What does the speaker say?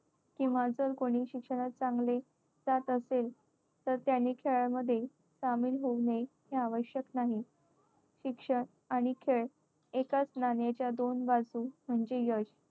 किंवा जर कोणी शिक्षणात चांगले जात असेल तर त्याने खेळामध्ये सामील होऊ नये हे आवश्यक नाही. शिक्षण आणि खेळ एकाच नाण्याच्या दोन बाजू म्हणजे यश.